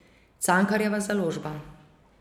Cankarjeva založba.